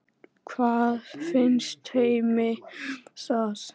Hvað finnst Heimi um það?